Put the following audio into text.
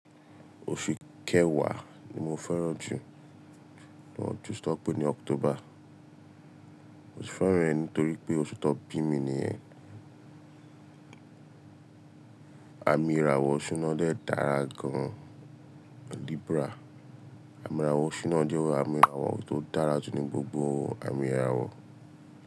Oṣù kẹwàá ni mo fẹ́ràn jù nínú ọdún, tí wọ́n ń pè ní October. Mo sì fẹ́ràn rẹ̀ nítorí pé oṣù tó bí mi ni ẹ̀. Àmì ìràwọ̀ Ọ̀ṣun náà dàá gan-an, Libra. Àmì ìràwọ̀ Ọ̀ṣun náà jẹ́ àmì ìràwọ̀ tó dára jù ní gbogbo àmì ìràwọ̀.